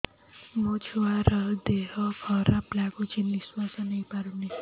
ମୋ ଛୁଆର ଦିହ ଖରାପ ଲାଗୁଚି ନିଃଶ୍ବାସ ନେଇ ପାରୁନି